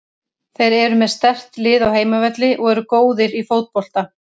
Þeir eru með sterkt lið á heimavelli og eru góðir í fótbolta.